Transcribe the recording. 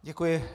Děkuji.